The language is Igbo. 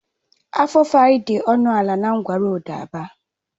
Afufara dị ọnụ ala na ngwa roodu ABA